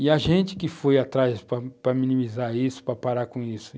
E a gente que foi atrás para para minimizar isso, para parar com isso.